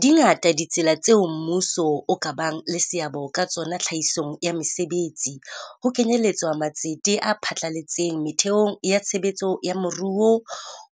Di ngata ditsela tse ding tseo mmuso o ka bang le seabo ka tsona tlhahisong ya mesebetsi, ho kenyeletswa matsete a phatlaletseng metheong ya tshebetso ya moruo,